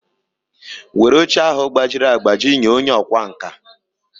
Were oche ahụ gbajiri agbaji nye onye ọkwá nkà!